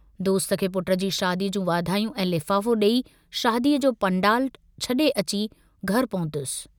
दोस्त खे पुट जी शादीअ जूं वाधायूं ऐं लिफाफो डेई, शादीअ जो पंडालु छड़े अची घर पहुतुस।